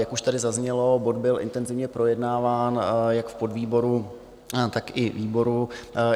Jak už tady zaznělo, bod byl intenzivně projednáván jak v podvýboru, tak i výboru.